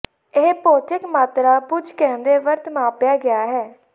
ਇਹ ਭੌਤਿਕ ਮਾਤਰਾ ਪੁੰਜ ਕਹਿੰਦੇ ਵਰਤ ਮਾਪਿਆ ਗਿਆ ਹੈ